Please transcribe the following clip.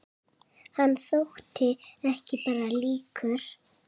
Hann þótti ekki bara líkur